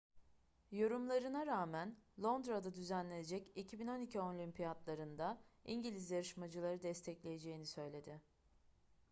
yorumlarına rağmen londra'da düzenlenecek 2012 olimpiyatları'nda i̇ngiliz yarışmacıları destekleyeceğini söyledi